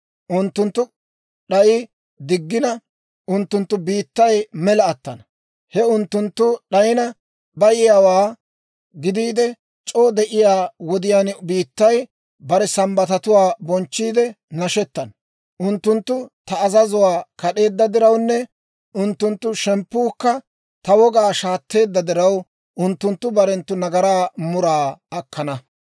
Unttunttu d'ay diggina, unttunttu biittay mela attana; he unttunttu d'ayina bayiyaawaa gidiide c'oo de'iyaa wodiyaan biittay bare Sambbatatuwaa bonchchiidde nashettana. Unttunttu ta azazuwaa kad'eedda dirawunne unttunttu shemppuukka ta wogaa shaatteedda diraw, unttunttu barenttu nagaraa muraa akkana.